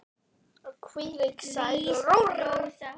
Og hvílík sæla.